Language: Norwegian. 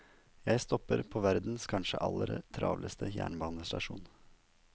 Jeg stopper på verdens kanskje aller travleste jernbanestasjon.